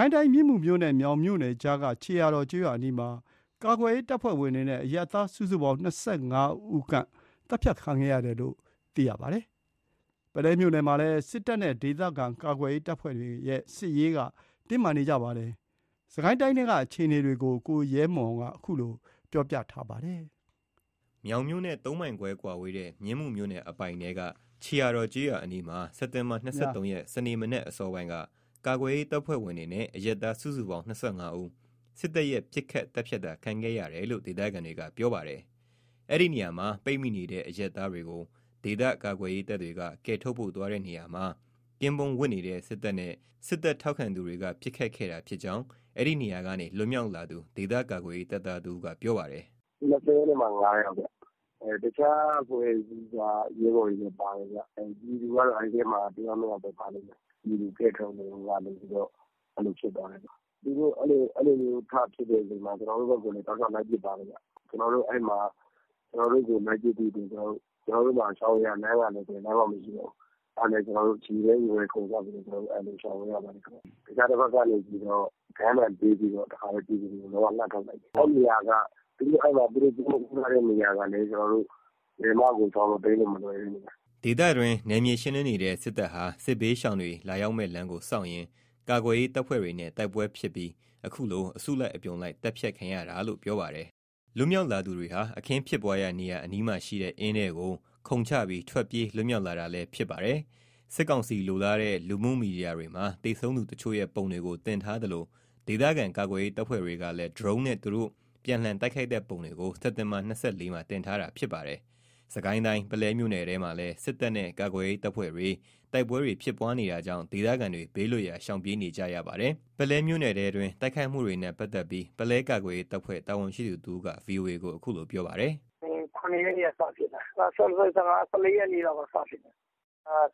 ိုင်းတိုင်းထဲက မြင်းမူမြို့နဲ့ မြောင်မြို့နယ်ကြားက ခြေရာတော်ရွာနားမှာ ကာကွယ်ရေးတပ်ဖွဲ့ဝင်တွေနဲ့ အရပ်သား စုစုပေါင်း ၂၅ ဦးခန််န့် သတ်ဖြတ်ခံခဲ့ရသလို ပုလဲမြို့နယ်ထဲမှာလည်း စစ်တပ်နဲ့ ဒေသခံကာကွယ်ရေးတပ်ဖွဲ့တွေကြားတိုက်ခိုက်မှုတွေကြောင့် ဒေသခံတွေ ဘေးလွတ်ရာ ရှောင်တိမ်းနေရပါတယ်။ စစ်ကိုင်းတိုင်းထဲက စစ်ရေးတင်းမာမှု အခြေအနေ သတင်းပေးပို့ထားတာကို ကိုရဲမွန်က တင်ပြပေးထားပါတယ်။ မြောင်မြို့နဲ့ ၃ မိုင်ခွဲအကွာ မြင်းမူမြို့နယ်အပိုင်ထဲက ခြေရာတော် ကျေးရွာနားမှာ စက်တင်ဘာ ၂၃ ရက် စနေနေ့မနက်အစောပိုင်းက ကာကွယ်ရေးတပ်ဖွဲ့ဝင်တွေနဲ့ အရပ်သား စုစုပေါင်း ၂၅ ဦးဟာ စစ်တပ်ရဲ့ ပစ်ခတ်သတ်ဖြတ်တ ခံခဲ့ရတယ်လို့ ဒေသခံတွေက ပြောပါတယ်။ အဲဒီနေရာမှာပိတ်မိနေတဲ့အရပ်သားတွေကို ဒေသကာကွယ်ရေးတပ်တွေက ကယ်ထုတ်ဖို့သွားတဲ့နေရာမှာ ကင်းပုန်းဝပ်နေတဲ့ စစ်တပ်နဲ့စစ်တပ်ထောက်ခံသူတွေက ပစ်ခတ်ခဲ့တာဖြစ်ကြောင်း အဲဒီနေရာကနေလွတ်မြောက်လာသူ ဒေသကာကွယ်ရေးတပ်သားတဦးက ပြောပါတယ်။ “၂၅ ယောက်ခင်ဗျ။ တခြားအဖွဲ့အစည်းက ရဲဘော်တွေလည်းပါတယ်။ ပြည်သူကတော့် ၁ ယောက် ၂ ယောက်ပဲပါတယ်။ ပြည်သူကိုကယ်ထုတ်ရင်းကနေ အဲ့လိုဖြစ်သွားတာ။ သူတို့ အဲ့လိုဖြစ်ချိန်မှာ ကျနော်တို့ဘက်ကိုလည်း တောက်လျှောက် လိုက်ပစ်ပါတယ်။ ကျနော်တို့ကိုယ်တိုင်ကလည်း ရှောင်စရာလမ်းမရှိတော့ ရေထဲခုန်ချလိုက်ပြီးတော့ သူတို့စီးထားတဲ့နေရာကလည်း ဘယ်လိုမှ ရှောင်လို့ တိမ်းလို့ မလွယ်တဲ့နေရာ။” ဒေသတွင်း နယ်မြေရှင်းလင်းနေတဲ့စစ်တပ်ဟာ စစ်ဘေးရှောင်တွေ လာရောက် မယ့်လမ်းကိုစောင့်ရင်း ကာကွယ်ရေးတပ်ဖွဲ့တွေနဲ့တိုက်ပွဲဖြစ်ပြီး အခုလို အစုလိုက် အပြုံလိုက် သတ်ဖြတ်ခံရတာလို့ ပြောပါတယ်။ လွတ်မြောက်လာသူတွေဟာ အခင်းဖြစ်ပွါးရာနေရာ အနီးမှာရှိတဲ့ အင်းထဲကို ခုန်ချပြီး ထွက်ပြေး လွတ်မြောက်လာတာလည်း ဖြစ်ပါတယ်။ စစ်ကောင်စီလိုလားတဲ့ လူမှုမီဒီယာတွေမှာ သေဆုံးသူတချို့ရဲ့ပုံတွေကို တင်ထားသလို ဒေသခံကာကွယ်ရေးတပ်ဖွဲ့တွေကလည်း ဒရုန်းနဲ့ သူတို့ ပြန်လှန်တိုက်ခိုက်တဲ့ပုံတွေကို စက်တင်ဘာ ၂၄ မှာ တင်ထားပါတယ်။ စစ်ကိုင်းတိုင်း ပုလဲမြို့နယ်ထဲမှာလည်း စစ်တပ်နဲ့ကာကွယ်ရေးတပ်ဖွဲ့တွေ တိုက်ပွဲတွေ ဖြစ်နေတာကြောင့် ဒေသခံတွေ ဘေးလွတ်ရာရှောင်ပြေးနေကြရပါတယ်။ ပုလဲမြို့နယ်အတွင်း တိုက်ခိုက်မှုတွေနဲ့ပတ်သက်ပြီး ပုလဲကာကွယ်ရေးတပ်ဖွဲ့ တာဝန်ရှိသူတဦးက VOA ကို အခုလို ပြောပါတယ်။ “၇ ရက်၊ ၁၄ ရက်လောက်က စဖြစ်တာ။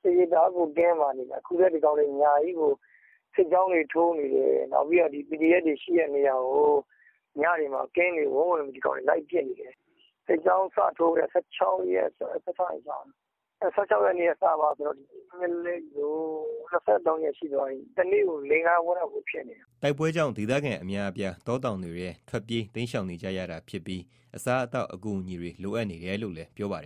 စစ်ရေး တအားကို တင်းမာနေတာ။ အခုဒီကောင်တွေ ညကြီးကို စစ်ကြောင်းတွေထိုးနေတယ်။ ဒီကောင်တွေ စစ်ကြောင်းထိုးပြီး ကင်းပုန်းဝပ်ပြီးပစ်နေတယ်။ စစ်ကြောင်းလိုက်ထိုးတဲ့ ၁၆ ရက်ကနေစပြီး ၂၃ ရက် ရှိသွားပြီ။ တနေ့ကို ၄-၅ ပွဲလောက်ဖြစ်နေတာ။" တိုက်ပွဲကြောင့် ဒေသခံ အများအပြား တောတောင်တွေထဲ ထွက်ပြေးတိမ်းရှောင်နေကြရပြီး အစားအသောက် အကူအညီတွေလိုအပ်နေတယ်လို့လည်း ပြောပါတယ်